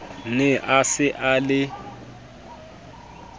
ne a se a le